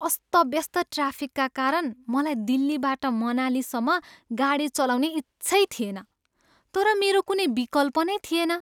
अस्तव्यस्त ट्राफिकका कारण मलाई दिल्लीबाट मनालीसम्म गाडी चलाउने इच्छै थिएन, तर मेरो कुनै विकल्प नै थिएन।